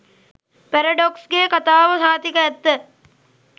පැරඩොක්ස්ගෙ කතාව සහතික ඇත්ත.